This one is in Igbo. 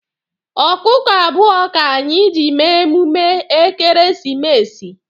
Ọkụkọ abụọ ka anyị ji mee emume ekeresimesi